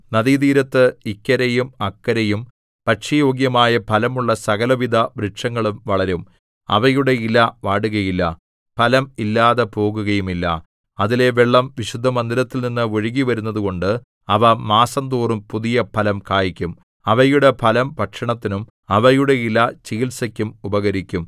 നദീതീരത്ത് ഇക്കരെയും അക്കരെയും ഭക്ഷ്യയോഗ്യമായ ഫലമുള്ള സകലവിധ വൃക്ഷങ്ങളും വളരും അവയുടെ ഇല വാടുകയില്ല ഫലം ഇല്ലാതെപോകുകയുമില്ല അതിലെ വെള്ളം വിശുദ്ധമന്ദിരത്തിൽനിന്ന് ഒഴുകിവരുന്നതുകൊണ്ട് അവ മാസംതോറും പുതിയ ഫലം കായ്ക്കും അവയുടെ ഫലം ഭക്ഷണത്തിനും അവയുടെ ഇല ചികിത്സക്കും ഉപകരിക്കും